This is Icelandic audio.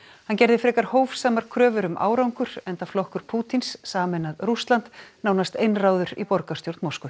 hann gerði frekar hófsamar kröfur um árangur enda flokkur Pútíns sameinað Rússland nánast einráður í borgarstjórn Moskvu